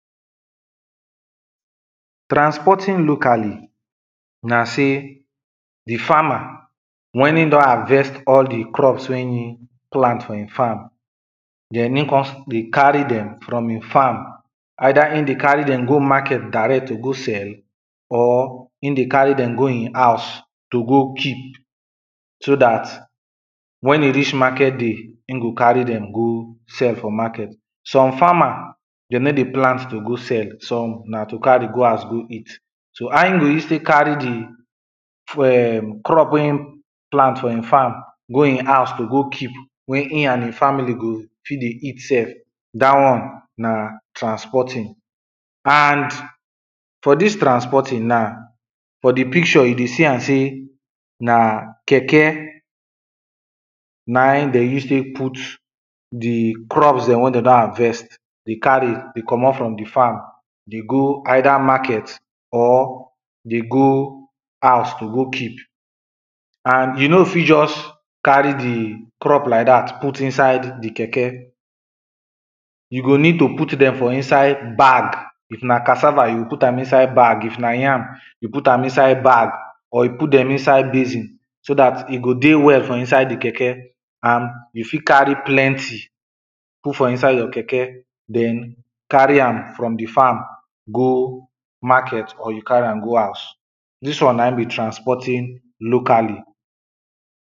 Transporting locally na sey, the farmer when in don harvest all the crops wey in plant for in farm, den in con dey carry dem from in farm. Either in dey carry dem go market direct to go sell or in dey carry dem go in house to go keep, so dat, when e reach market day, in go carry dem go sell for market. Some farmer, de no dey plant to go sell, some na to carry go house go eat.so how e go use tek carry the em, crop wey in plant for e farm go in house to go keep wey in and e family go fit dey eat sef, dat one na transporting. And for dis transporting na, for the picture you dey see am sey, na keke na de use tek put the crops dem wey de don harvest, dey carry comot from the farm dey go either market or, dey go house to go keep. And e no fit just carry the crop like dat put inside the keke, you go need to put dem for inside bag, if na cassava you put am inside bag, if na yam yoh put am inside bag or you put dem inside basin, so dat e go dey well for inside the keke and you fit carry plenty put for inside your keke, dem carry am from the farm go market or you carry am go house. Dis one na in be transporting locally.